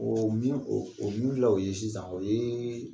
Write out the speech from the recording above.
Oo min , o min filɛ o ye sisan o ye